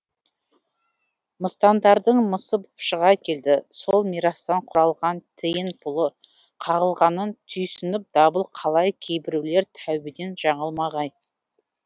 мыстандардың мысы боп шыға келді сол мирастан құралған тиын пұлы қағылғанын түйсініп дабыл қалай кейбіреулер тәубадан жаңылмағай